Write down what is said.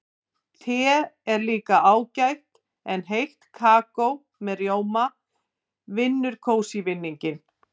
Te er líka ágætt en heitt kakó með rjóma vinnur kósí-vinninginn.